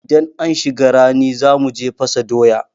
Idan an shiga rani za mu je fasa doya.